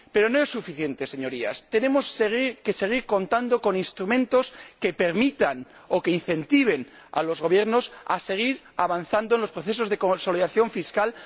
Pero no es suficiente, Señorías tenemos que seguir contando con instrumentos que permitan o que incentiven a los Gobiernos a seguir avanzando en los procesos de consolidación fiscal